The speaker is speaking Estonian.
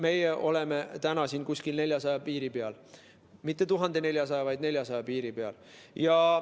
Meie oleme 400 piiri peal, mitte 1400, vaid 400 piiri peal.